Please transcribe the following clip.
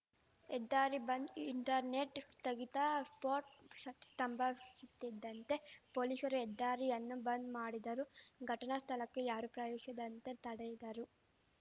ಹೆದ್ದಾರಿ ಬಂದ್‌ ಇಂಟರ್ನೆಟ್‌ ಸ್ಥಗಿತ ಸ್ಫೋಟ್ ಸ್ತಂಭವಿಶುತ್ತಿದ್ದಂತೆ ಪೊಲೀಶರು ಹೆದ್ದಾರಿಯನ್ನು ಬಂದ್‌ ಮಾಡಿದರು ಘಟನಾ ಸ್ಥಳಕ್ಕೆ ಯಾರೂ ಪ್ರವೇಶಿದಂತೆ ತಡೆದರು